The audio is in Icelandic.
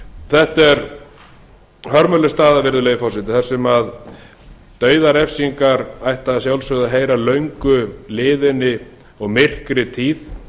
þetta er hörmuleg staða virðulegi forseti þar sem dauðarefsingar ættu að sjálfsögðu að heyra löngu liðinni og myrkri tíð